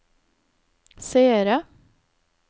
seere